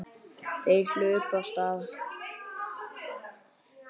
Þeir hlupu af stað.